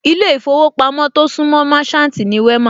Orúkọ ilé ìfowópamọ́ tí ó súńmọ Merchant ni Wema